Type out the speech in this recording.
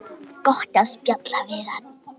Gott að spjalla við hann.